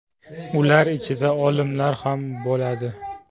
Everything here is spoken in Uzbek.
Ular ichida olimlar ham bo‘ladi.